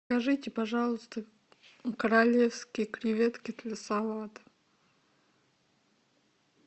закажите пожалуйста королевские креветки для салата